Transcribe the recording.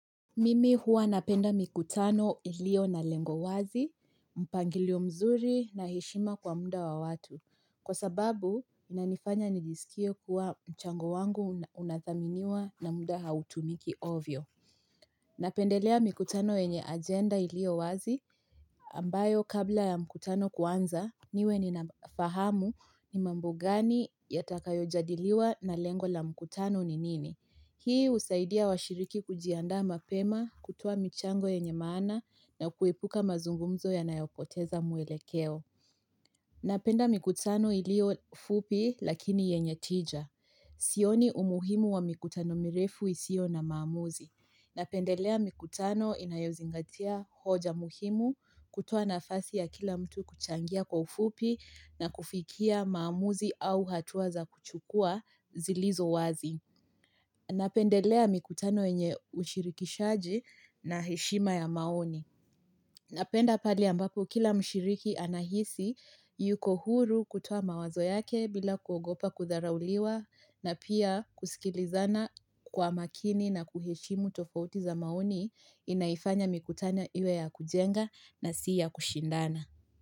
Mimi huwa napenda mikutano ilio na lengo wazi, mpangilio mzuri na heshima kwa muda wa watu. Kwa sababu, inanifanya nijisikie kuwa mchango wangu unadhaminiwa na muda hautumiki ovyo. Napendelea mikutano enye agenda ilio wazi, ambayo kabla ya mikutano kuanza, niwe ninafahamu ni mambo gani yatakayojadiliwa na lengo la mikutano ni nini. Hii uzaidia washiriki kujiandaa mapema, kutoa michango yenye maana na kuepuka mazungumzo yanayopoteza muelekeo. Napenda mikutano ilio fupi lakini yenye tija. Sioni umuhimu wa mikutano mirefu isio na maamuzi. Napendelea mikutano inayozingatia hoja muhimu kutoa nafasi ya kila mtu kuchangia kwa ufupi na kufikia maamuzi au hatua za kuchukua zilizo wazi. Napendelea mikutano enye ushirikishaji na heshima ya maoni. Napenda pale ambapo kila mshiriki anahisi yuko huru kutoa mawazo yake bila kuogopa kudharauliwa na pia kusikilizana kwa makini na kuheshimu tofauti za maoni inaifanya mikutana iwe ya kujenga na siyakushindana.